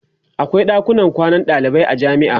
akwai ɗakunan kwanan dalibai a jamia